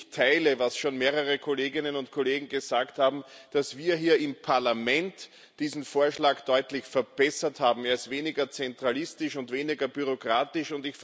Ich teile, was schon mehrere Kolleginnen und Kollegen gesagt haben, dass wir hier im Parlament diesen Vorschlag deutlich verbessert haben Er ist weniger zentralistisch und weniger bürokratisch.